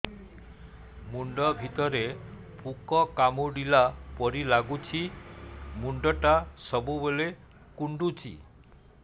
ମୁଣ୍ଡ ଭିତରେ ପୁକ କାମୁଡ଼ିଲା ପରି ଲାଗୁଛି ମୁଣ୍ଡ ଟା ସବୁବେଳେ କୁଣ୍ଡୁଚି